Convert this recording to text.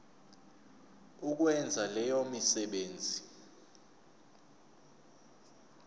ukwenza leyo misebenzi